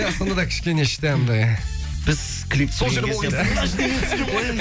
иә сондада кішкене іште андай біз клип түсірген кезде